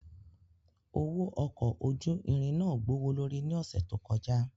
Owo ọkọ oju irin náa gbowolori ni ọsẹ to kọja.